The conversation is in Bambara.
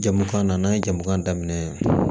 Jagokan na n'an ye jamu daminɛ